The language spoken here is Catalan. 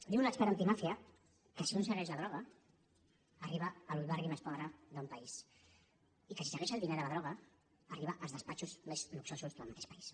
diu un expert antimàfia que si un segueix la droga arriba al barri més pobre d’un país i que si segueix el diner de la droga arriba als despatxos més luxosos del mateix país